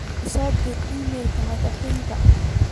ii soo dir iimayl ka madaxayga